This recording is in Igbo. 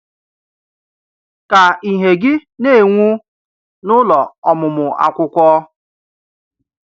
Ka ìhè gị na-enwu n’ụlọ ọmụmụ akwụkwọ.